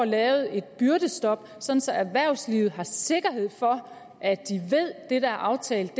lavet et byrdestop så så erhvervslivet har sikkerhed for at det der er aftalt